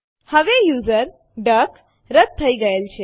હવે યુઝર ડક રદ થઇ ગયેલ છે